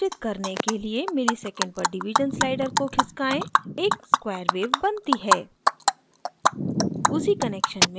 wave को समायोजित करने के लिए msec/div slider को खिसकाएँ एक square wave बनती है